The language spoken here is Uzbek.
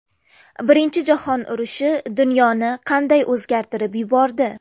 Birinchi jahon urushi dunyoni qanday o‘zgartirib yubordi?